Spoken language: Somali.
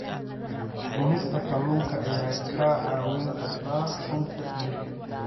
Cunista kalluunka ayaa kaa caawin karta sunta jirka.